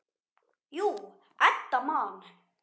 Jú, Edda man.